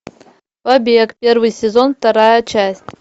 побег первый сезон вторая часть